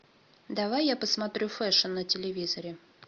давай я посмотрю фэшн на телевизоре